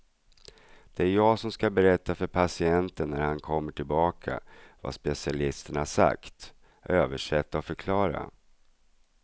Det är jag som ska berätta för patienten när han kommer tillbaka vad specialisten har sagt, översätta och förklara.